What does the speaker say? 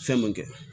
Fɛn mun kɛ